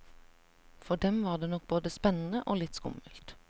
For dem var det nok både spennende og litt skummelt.